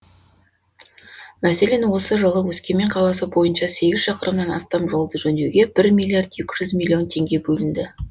мәселен осы жылы өскемен қаласы бойынша сегіз шақырымнан астам жолды жөндеуге бір миллиард екі жүз миллион теңге бөлінді